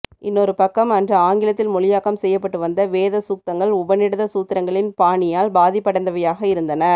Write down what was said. இன்னொரு பக்கம் அன்று ஆங்கிலத்தில் மொழியாக்கம் செய்யப்பட்டு வந்த வேதசூக்தங்கள் உபநிடத சூத்திரங்களின் பாணியால் பாதிப்படைந்தவையாக இருந்தன